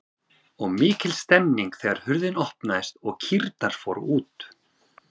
Og mikil stemning þegar hurðin opnaðist og kýrnar fóru út?